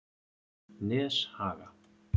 Neshaga